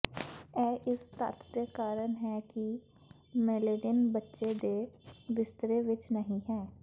ਇਹ ਇਸ ਤੱਥ ਦੇ ਕਾਰਨ ਹੈ ਕਿ ਮੇਲੇਨਿਨ ਬੱਚੇ ਦੇ ਬਿਸਤਰੇ ਵਿਚ ਨਹੀਂ ਹੈ